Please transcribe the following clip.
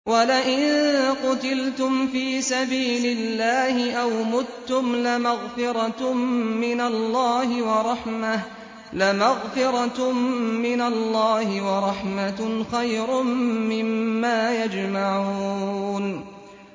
وَلَئِن قُتِلْتُمْ فِي سَبِيلِ اللَّهِ أَوْ مُتُّمْ لَمَغْفِرَةٌ مِّنَ اللَّهِ وَرَحْمَةٌ خَيْرٌ مِّمَّا يَجْمَعُونَ